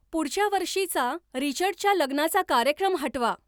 पुढच्या वर्षीचा रिचर्डच्या लग्नाचा कार्यक्रम हटवा